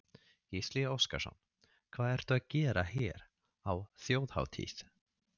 Gísli Óskarsson: Hvað ertu að gera hér á þjóðhátíð?